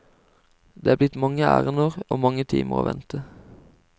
Det er blitt mange ærender og mange timer å vente.